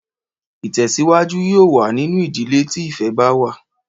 Ìtè̩síwájú yóò wà nínú ìdílé tí ìfé̩ bá wà